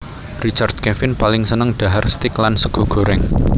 Richard Kevin paling seneng dhahar steak lan sega goreng